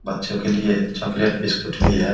बच्चो के लिए चॉकलेट बिस्कुट भी है ।